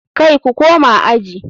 Kai ku koma aji.